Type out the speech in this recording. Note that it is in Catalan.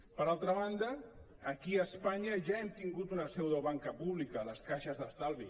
per altra banda aquí a espanya ja hem tingut una seu de banca pública les caixes d’estalvi